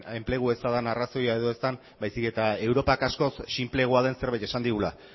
enplegu eza den arrazoia edo ez den baizik eta europak askoz sinpleagoa den zerbait esan digula